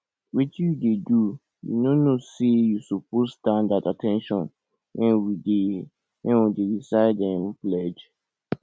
wetin you dey do you no know say you suppose stand at at ten tion wen we dey wen we dey recite um pledge